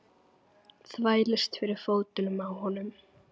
Þvælist fyrir fótunum á honum.